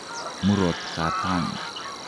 Murot katam